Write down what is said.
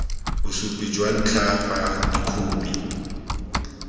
bosupi jwa ntlha fa dikhopi